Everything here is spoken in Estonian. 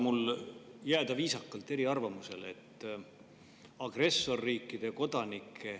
Lubage mul jääda viisakalt eriarvamusele.